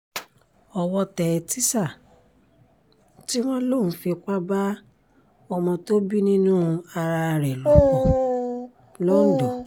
owó tẹ tísà tí wọ́n lò ń fipá bá ọmọ tó bí nínú ara ẹ̀ lò pọ̀ lọ́ńdọ̀